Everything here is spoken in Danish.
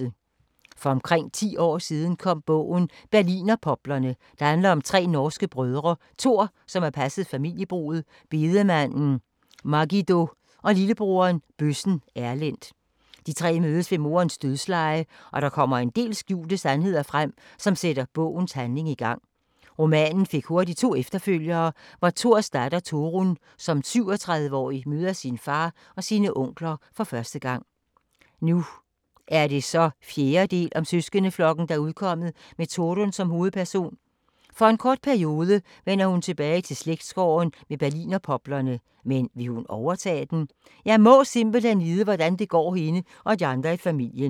For omkring 10 år siden kom bogen Berlinerpoplerne, der handler om tre norske brødre: Tor, som har passet familiebruget, bedemanden Margido, og lillebroderen, bøssen Erlend. De tre mødes ved moderens dødsleje og der kommer en del skjulte sandheder frem, som sætter bogens handling i gang. Romanen fik hurtigt to efterfølgere, hvor Tors datter, Torunn, som 37-årig møder sin far og sine onkler for første gang. Og nu er så 4. del om søskendeflokken udkommet med Torunn som hovedperson. For en kort periode vender hun tilbage til slægtsgården med berlinerpoplerne, men vil hun overtage den? Jeg må simpelthen vide, hvordan det går hende og de andre i familien.